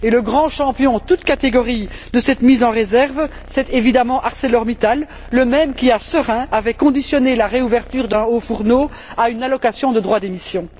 le grand champion toutes catégories de cette mise en réserve est évidemment ArcelorMittal, le même qui, à Seraing, avait conditionné la réouverture d'un haut fourneau à une allocation de droit d'émissions.